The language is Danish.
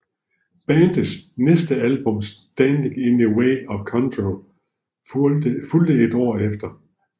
Bandets næste album Standing in the Way of Control fulgte et år efter